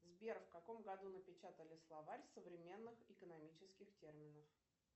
сбер в каком году напечатали словарь современных экономических терминов